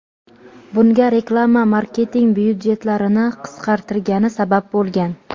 Bunga reklama marketing byudjetlarini qisqartirgani sabab bo‘lgan.